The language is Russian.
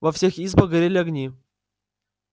во всех избах горели огни